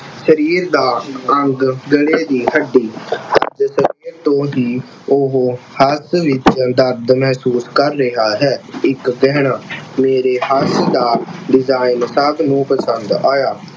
ਸਰੀਰ ਦਾ ਅੰਗ ਗਲੇ ਦੀ ਹੱਡੀ ਤੋਂ ਹੀ ਉਹ ਹੱਥ ਵਿੱਚ ਦਰਦ ਮਹਿਸੂਸ ਕਰ ਰਿਹਾ ਹੈ। ਇੱਕ ਦਿਨ ਮੇਰੇ ਹੱਥ ਦਾ design ਸਭ ਨੂੰ ਪਸੰਦ ਆਇਆ।